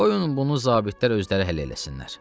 Qoyun bunu zabitlər özləri həll eləsinlər.